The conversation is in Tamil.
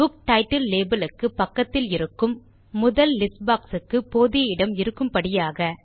புக் டைட்டில் labelக்கு பக்கத்தில் இருக்கும் முதல் லிஸ்ட் boxக்கு போதிய இடம் இருக்கும்படியாக